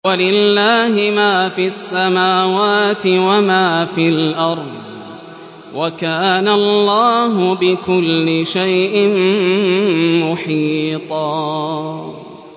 وَلِلَّهِ مَا فِي السَّمَاوَاتِ وَمَا فِي الْأَرْضِ ۚ وَكَانَ اللَّهُ بِكُلِّ شَيْءٍ مُّحِيطًا